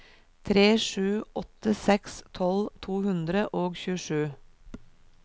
tre sju åtte seks tolv to hundre og tjuesju